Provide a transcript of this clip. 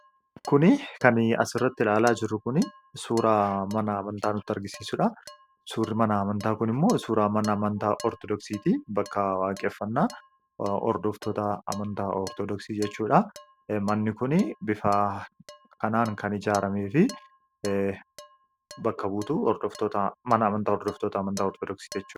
Suuraa kanaa gadii irratti kan argamu Kun suuraa mana amantaa Ortodoksii ti. Innis bakka waaqeffannaa isaanii fi bakka buutuu mana amantaa isaaniiti.